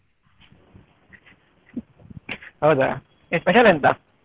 ಹೌದಾ ಏನ್ special ಎಂತ?